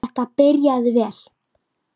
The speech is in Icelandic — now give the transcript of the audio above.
Þetta byrjaði vel.